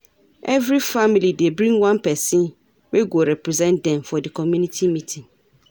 Every family dey bring one pesin wey go represent dem for di community meeting.